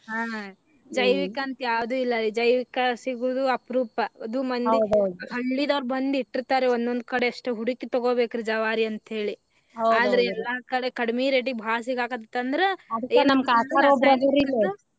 ಹಾ ಜೈವಿಕ ಅಂತ ಯಾವ್ದು ಇಲ್ಲಾ ಈಗ ಜೈವಿಕ ಸೀಗುವುದು ಅಪರೂಪ ಅದು ಮನ್ಯಾಗ ಹಳ್ಳಿದವ್ರ ಬಂದ್ ಇಟ್ಟಿರತಾರಿ ಒಂದೊಂದ್ ಕಡೆ ಅಷ್ಟೇ ಹುಡಕಿ ತಗೋಬೇಕರಿ ಜವಾರಿ ಅಂತ ಹೇಳಿ ಆದ್ರ ಎಲ್ಲಾ ಕಡೆ ಕಡಿಮಿ rate ಗ ಬಾಳ ಸಿಗಾಕತ್ತಿತಂದ್ರ .